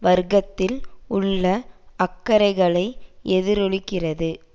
வர்க்கத்தில் உள்ள அக்கறைகளை எதிரொலிக்கிறது